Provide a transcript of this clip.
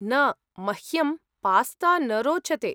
न, मह्यं पास्ता न रोचते।